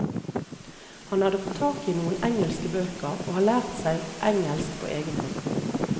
Han har fått tak i noen engelske bøker, og har lært seg engelsk på egen hånd.